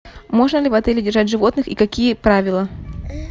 можно ли в отеле держать животных и какие правила